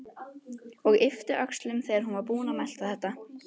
Og yppti öxlum þegar hún var búin að melta þetta.